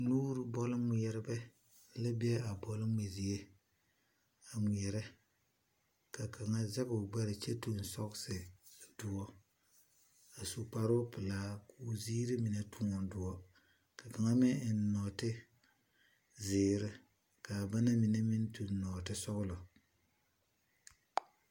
Nuure bɔlgmɛrebɛ la gmɛɛrɛ bɔl. Kaŋ zɛge la o gbɛre ka o do kyɛ ka o eŋ sɔɔsi dɔre a su kparepelaa kaa zie kaŋa taa dɔre kyɛ ka kaŋa meŋ eŋ nɔɔteɛ kaa waa ziire. Kaŋ meŋ eŋla nɔɔtesɔglɔ